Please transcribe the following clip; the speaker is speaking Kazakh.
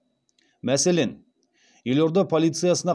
мәселен елорда полициясына